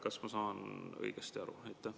Kas ma saan õigesti aru?